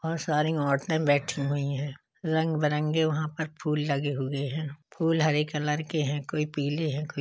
बहुत सारी औरते बैठी हुई हैं। रंग बिरंगे वहां पर फुल लगे हुए हैं। फूल हरे कलर के हैं कोई पीले हैं कोई --